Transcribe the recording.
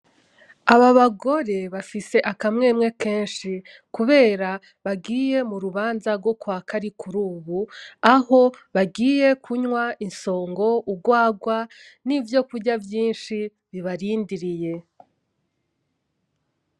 Aba bagore bafise akamwemwe kenshi, kubera bagiye mu rubanza rwo kwa Karikurubu aho bagiye kunywa isongo urwarwa nivyo kurya vyinshi bibarindiriye .